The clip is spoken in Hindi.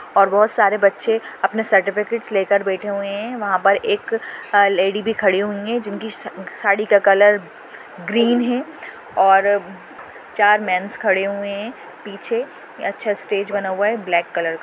और बहुत सारे बछे अपने सर्टिफिकेट लेकर बैठे हुए है वह पर एक लेड़ी भी खड़ी हुयी है जिनकी साडी का कलर ग्रीन है और चार मेन्स खड़े हुए है पीछे अच्छा सा स्टेज बना हुआ है ब्लैक कलर का।